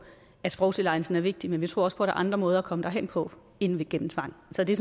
at sprogtilegnelsen er vigtig men vi tror også der er andre måder at komme derhen på end gennem tvang så det